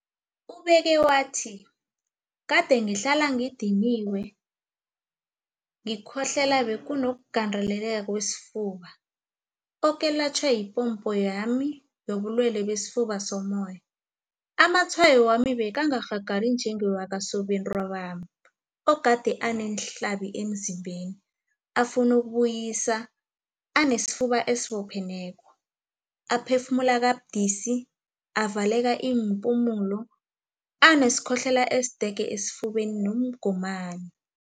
Ubeke wathi, Kade ngihlala ngidiniwe, ngikhohlela benginokugandeleleka kwesifuba, okwelatjhwa yipompo yami yobulwele besifuba sommoya. Amatshwayo wami bekangakarhagali njengewakasobentwabami, ogade aneenhlabi emzimbeni, afuna ukubuyisa, anesifuba esibopheneko, aphefumula kabudisi, avaleka iimpumulo, anesikhohlelo esidege esifubeni nomgomani.